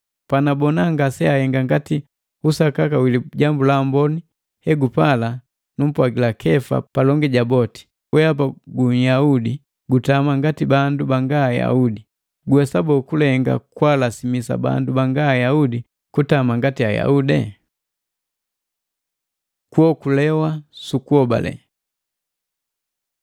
Panabona ngaseahenga ngati usakaka wi Lijambu la Amboni egupala numpwagila Kefa palongi jabu boti, “Wehapa gu Nyaudi, gutama ngati bandu banga Ayaudi! Guwesa boo, kulenga kwaalasimisa bandu banga Ayaudi kutama ngati Ayaudi?” Kuokulewa sukuhobale